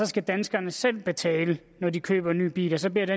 skal danskerne selv betale når de køber ny bil og så bliver det